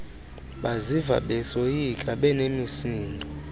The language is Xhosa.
baziva besoyika benemisindo